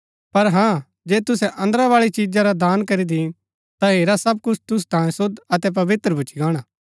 पर हाँ जे तुसै अन्दरा बाळी चिजा रा दान करी दीन ता हेरा सब कुछ तुसु तांयें शुद्ध अतै पवित्र भूच्ची गाणा